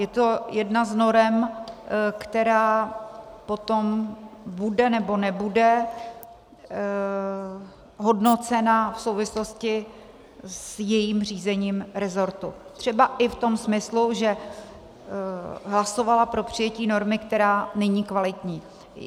Je to jedna z norem, která potom bude, nebo nebude hodnocena v souvislosti s jejím řízením resortu, třeba i v tom smyslu, že hlasovala pro přijetí normy, která není kvalitní.